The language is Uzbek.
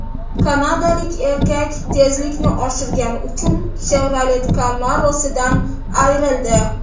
Kanadalik erkak tezlikni oshirgani uchun Chevrolet Camaro‘sidan ayrildi.